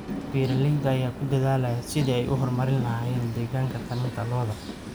Beeralayda ayaa ku dadaalaya sidii ay u horumarin lahaayeen deegaanka taranta lo'da.